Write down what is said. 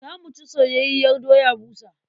Za mu ci soyayyiyar doya busa.